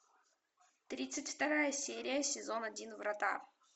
тридцать вторая серия сезон один врата